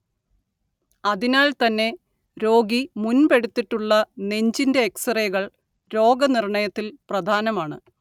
അതിനാൽ തന്നെ രോഗി മുൻപെടുത്തിട്ടുള്ള നെഞ്ചിന്റെ എക്സ്റേകൾ രോഗനിർണയത്തിൽ പ്രധാനമാണ്‌